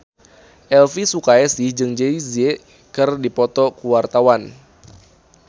Elvy Sukaesih jeung Jay Z keur dipoto ku wartawan